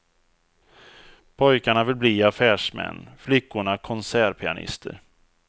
Pojkarna vill bli affärsmän, flickorna konsertpianister.